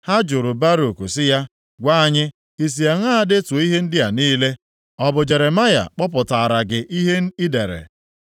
Ha jụrụ Baruk sị ya, “Gwa anyị i si aṅaa detuo ihe ndị a niile? Ọ bụ Jeremaya kpọpụtaara gị ihe i dere?”